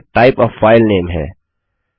यहाँ type a file name है